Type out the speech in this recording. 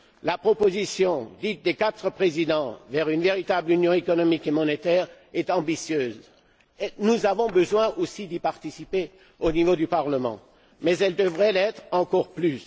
La proposition dite des quatre présidents vers une véritable Union économique et monétaire est ambitieuse nous avons besoin aussi d'y participer au niveau du Parlement mais elle devrait l'être encore plus.